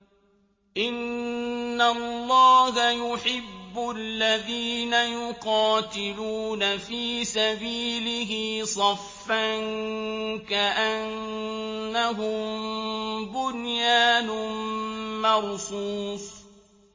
إِنَّ اللَّهَ يُحِبُّ الَّذِينَ يُقَاتِلُونَ فِي سَبِيلِهِ صَفًّا كَأَنَّهُم بُنْيَانٌ مَّرْصُوصٌ